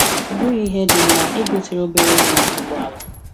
Ọbughi ihe dị mma, I gotere obere nwa ụgbọ ala.